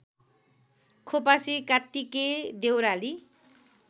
Khopasi Kattike Deurali